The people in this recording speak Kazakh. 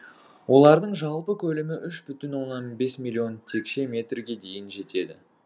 олардың жалпы көлемі үш бүтін оннан бес миллион текше метрге дейін жетеді